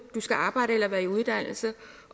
du skal arbejde eller være i uddannelse